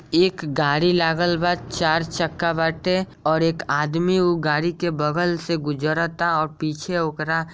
एक गाड़ी लागल बा चार चक्का बाटे और एक आदमी उ गाड़ी के बगल से गुजरता और पीछे ओकरा --